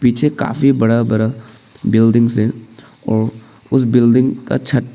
पीछे काफी बड़ा बड़ा बिल्डिंग्स है और उसे बिल्डिंग का छत--